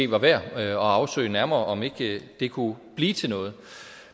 var værd at afsøge nærmere om ikke det kunne blive til noget